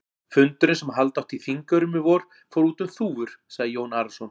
Fundurinn sem halda átti á Þingeyrum í vor, fór út um þúfur, sagði Jón Arason.